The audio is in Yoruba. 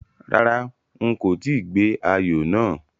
Rárá, n kò tíì gbé ayò náà